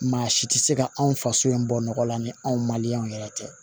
Maa si tɛ se ka anw faso in bɔ nɔgɔ la ni anw ma yɛrɛ tɛ